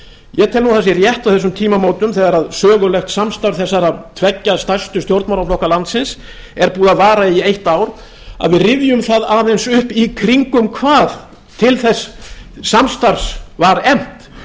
ég tel nú að það sé rétt á þessum tímamótum þegar sögulegt samstarf þeirra tveggja stærstu stjórnmálaflokka landsins er búið að vara í eitt ár að við rifjum það aðeins upp í kringum hvað til þess samstarfs var efnt